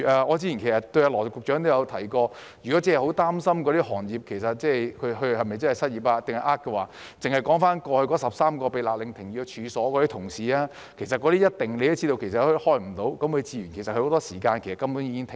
我早前也對羅局長說，如果真是很擔心那些領取失業援助的人是否真的失業或存心詐騙，單看過去那13類被勒令停業的處所，他也一定知道它們無法營業，很多時間根本已經停業。